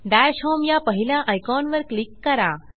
दश होम या पहिल्या आयकॉनवर क्लिक करा